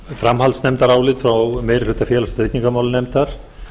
framhaldsnefndarálit frá meiri hluta félags og tryggingamálanefndar